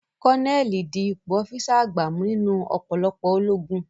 Kọ́nẹ́ẹ̀lì di ipò ọ́físà àgbà mú nínú ọ̀pọ̀lọpọ̀ ológun